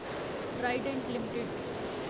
Trident limited